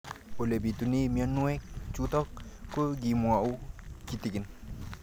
Ole pitune mionwek chutok ko kimwau kitig'�n